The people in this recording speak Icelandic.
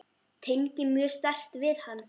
Tengi mjög sterkt við hann.